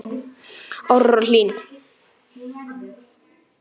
Áróra Hlín.